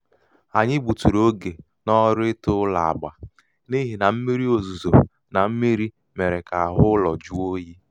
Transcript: anyị gbuturu oge gbuturu oge n'ọrụ ite ụlọ agba n' ihi na mmírí ozuzo na mmírí mere ka ahụ ụlọ jụọ oyi.